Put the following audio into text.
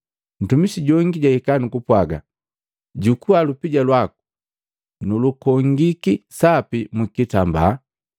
Ntumisi jongi jwahika nu kupwaga, ‘Jukua lupija lwaku, nulukongiki sapi mu kitambaa,